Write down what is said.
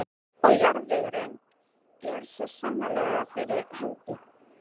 Og jarðvegurinn er svo sannarlega fyrir hendi.